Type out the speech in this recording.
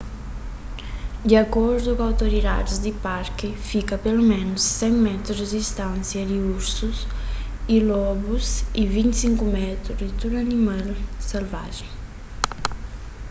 di akordu ku outoridadis di parki fika peloménus 100 métru di distánsia di ursus y lobus y 25 métru di tudu otu animal selvajen